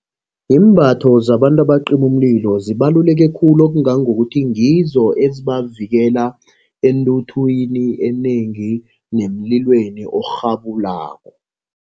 Iimbatho zabantu abacima umlilo zibaluleke khulu. Okungangokuthi ngizo ezibavikela entuthwini enengi nemililweni orhabulako.